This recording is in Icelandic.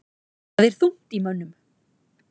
Þar er þungt í mönnum.